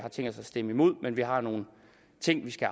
stemme imod men vi har nogle ting vi skal